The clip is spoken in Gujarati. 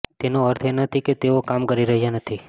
તેનો અર્થ એ નથી કે તેઓ કામ કરી રહ્યા નથી